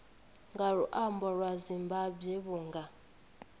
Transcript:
nga luambo lwa zimbambwe vhunga